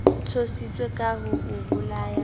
tshositse ka ho o bolaya